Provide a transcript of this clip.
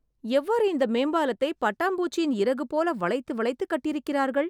எவ்வாறு இந்த மேம்பாலத்தை பட்டாம்பூச்சியின் இறகு போல வளைத்து வளைத்து கட்டியிருக்கிறார்கள்